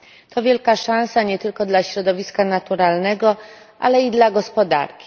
To wielka szansa nie tylko dla środowiska naturalnego, ale i dla gospodarki.